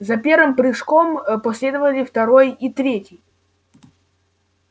за первым прыжком последовали второй и третий